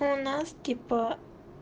у нас типа